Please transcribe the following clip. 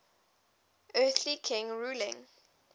earthly king ruling